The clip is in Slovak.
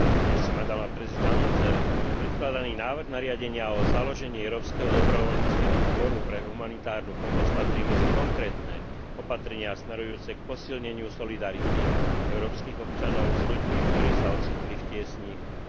Predstavený návrh nariadenia o založení Európskeho dobrovoľníckeho zboru pre humanitárnu pomoc patrí medzi konkrétne opatrenia smerujúce k posilneniu solidarity európskych občanov s ľuďmi, ktorí sa ocitli v tiesni a v núdzi.